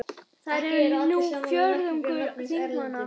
Þær eru nú fjórðungur þingmanna